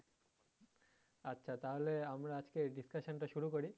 আচ্ছা তাহলে আমরা আজকের discussion টা শুরু করি?